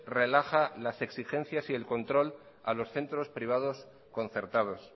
relaja las exigencias y el control a los centros privados concertados